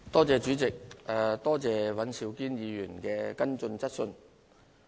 主席，多謝尹兆堅議員的補充質詢。